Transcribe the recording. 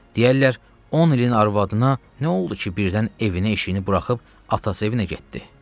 Deyərlər, on ilin arvadına nə oldu ki, birdən evinə-eşiyini buraxıb atası evinə getdi?